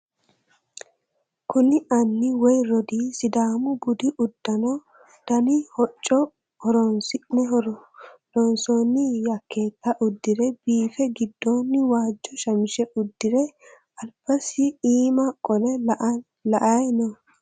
kuni anni woye rodii sidaamu budu uddano dani hocco horonsi'ne loonsoonni yakeeta udire biife gidooni waajjo shamishe udire albasiinni iima qole la"ayii no.